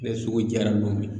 Ne sogo jara lo min na